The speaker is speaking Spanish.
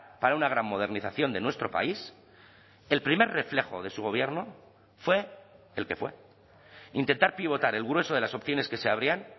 para una gran modernización de nuestro país el primer reflejo de su gobierno fue el que fue intentar pivotar el grueso de las opciones que se abrían